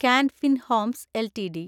can Fin Homes LTD